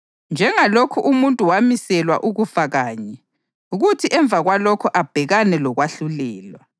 Njengalokhu umuntu wamiselwa ukufa kanye, kuthi emva kwalokho abhekane lokwahlulelwa,